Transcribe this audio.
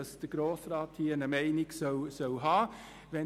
Denn hier sollte der Grosse Rat eine Meinung haben.